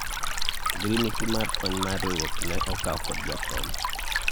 ogirimiti ma kony mag riwruok ne okaw kod jakom